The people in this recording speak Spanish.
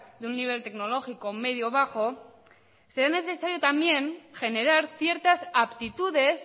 de un nivel tecnológico medioybajo se ve necesario también generar ciertas aptitudes